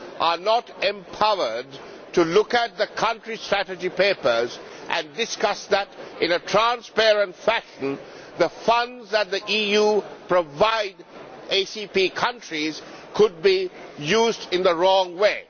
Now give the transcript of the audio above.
are not empowered to look at the country strategy papers and discuss them in a transparent fashion, then the funds that the EU provides ACP countries could be used in the wrong way.